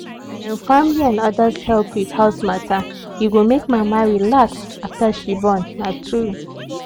when family and others help with house matter e go make mama relax after she born na tru